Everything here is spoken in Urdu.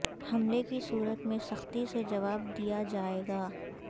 حملے کی صورت میں سختی سے جواب دیا جائے گا